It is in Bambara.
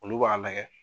Olu b'a lajɛ